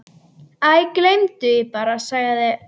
Æ, gleymdu því bara- sagði